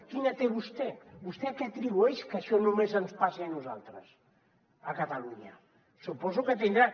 quina té vostè vostè a què atribueix que això només ens passi a nosaltres a catalunya suposo que tindrà